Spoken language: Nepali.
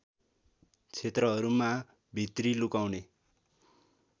क्षेत्रहरूमा भित्री लुकाउने